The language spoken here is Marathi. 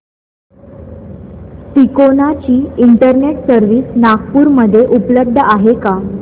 तिकोना ची इंटरनेट सर्व्हिस नागपूर मध्ये उपलब्ध आहे का